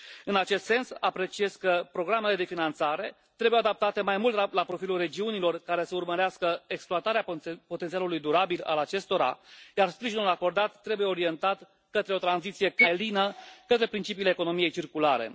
În acest sens, apreciez că programele de finanțare trebuie adaptate mai mult la profilul regiunilor care să urmărească exploatarea potențialului durabil al acestora, iar sprijinul acordat trebuie orientat către o tranziție cât mai lină către principiile economiei circulare.